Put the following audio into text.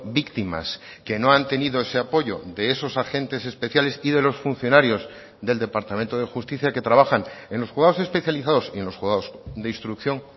víctimas que no han tenido ese apoyo de esos agentes especiales y de los funcionarios del departamento de justicia que trabajan en los juzgados especializados y en los juzgados de instrucción